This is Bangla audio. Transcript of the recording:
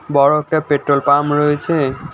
বড় একটা পেট্রোল পাম্প রয়েছে।